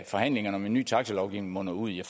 forhandlingerne om en ny taxilovgivning munder ud i